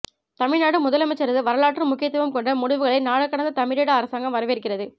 தமிழ்நாடு முதலமைச்சரது வரலாற்று முக்கியத்துவம் கொண்ட முடிவுகளை நாடுகடந்த தமிழீழ அரசாங்கம் வரவேற்கிறது